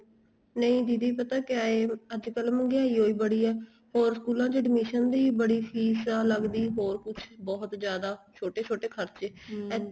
ਨਹੀਂ ਦੀਦੀ ਪਤਾ ਕਿਹਾ ਏ ਅੱਜ ਕੱਲ ਮਹਿੰਗਾਈ ਹੀ ਬੜੀ ਆ ਹੋਰ ਸਕੂਲਾਂ ਚ admission ਦੀ ਬੜੀ ਫ਼ੀਸ ਆ ਲੱਗਦੀ ਹੋਰ ਕੁੱਛ ਬਹੁਤ ਜਿਆਦਾ ਛੋਟੇ ਛੋਟੇ ਖਰਚੇ